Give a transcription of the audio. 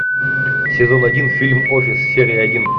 сезон один фильм офис серия один